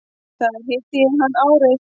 Þar hitti ég hann árið